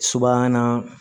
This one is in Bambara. Subahana